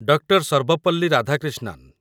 doctor Sarvepalli Radhakrishnan